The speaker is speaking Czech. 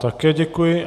Také děkuji.